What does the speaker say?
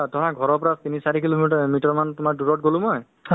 যিটো থাকিলে নহয় মানুহ automatic তোমাৰ লগত জৰিত হৈ থাকিব